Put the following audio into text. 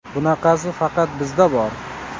Bunaqasi faqat bizda bor.